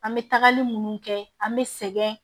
An bɛ tagali munnu kɛ an bɛ sɛgɛn